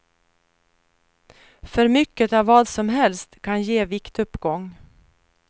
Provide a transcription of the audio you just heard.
För mycket av vad som helst kan ge viktuppgång.